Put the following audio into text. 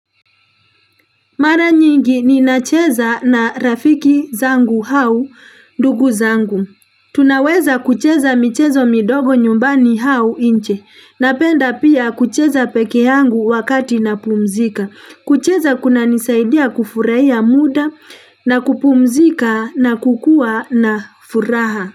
Mara nyingi ni nacheza na rafiki zangu au ndugu zangu. Tunaweza kucheza michezo midogo nyumbani au nje. Napenda pia kucheza peke hangu wakati na pumzika. Kucheza kuna nisaidia kufurahia muda na kupumzika na kukua na furaha.